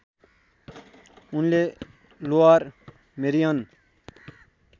उनले Lower Merion